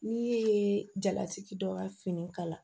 N'i ye jalatigi dɔ ka fini kala